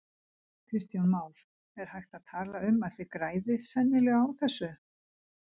Kristján Már: Er hægt að tala um að þið græðið sennilega á þessu?